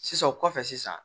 Sisan o kɔfɛ sisan